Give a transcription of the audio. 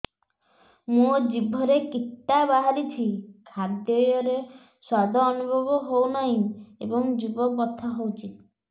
ମୋ ଜିଭରେ କିଟା ବାହାରିଛି ଖାଦ୍ଯୟରେ ସ୍ୱାଦ ଅନୁଭବ ହଉନାହିଁ ଏବଂ ଜିଭ ବଥା ହଉଛି